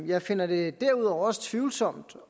jeg finder det derudover også tvivlsomt